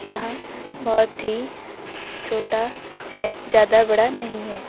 यह बहुत ही छोटा है ज्यादा बड़ा नहीं है।